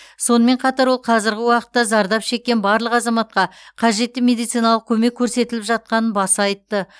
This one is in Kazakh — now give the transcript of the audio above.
сонымен қатар ол қазіргі уақытта зардап шеккен барлық азаматқа қажетті медициналық көмек көрсетіліп жатқанын баса айтты